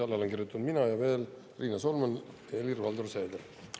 Alla olen kirjutanud mina ja veel Riina Solman ja Helir-Valdor Seeder.